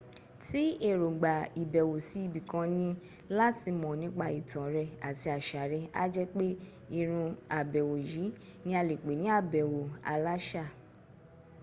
tí èróngbà ìbẹ̀wò sí ibi kan ní láti mọ̀ nípa ìtàn rẹ̀ ati àṣà rẹ̀ á jẹ́ pé ìrún àbẹ̀wò yìí ní a lè pè ní àbẹ̀wò aláṣà